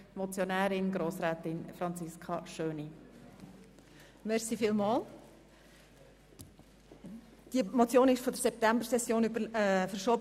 Diese Motion wurde von der September- in die Novembersession verschoben.